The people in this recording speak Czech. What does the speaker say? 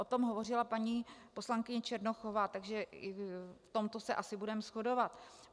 O tom hovořila paní poslankyně Černochová, takže v tomto se asi budeme shodovat.